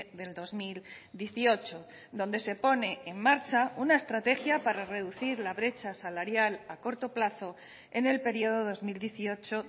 del dos mil dieciocho donde se pone en marcha una estrategia para reducir la brecha salarial a corto plazo en el periodo dos mil dieciocho